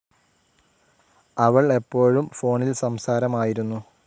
അവൾ എപ്പോഴും ഫോണിൽ സംസാരമായിരുന്നു.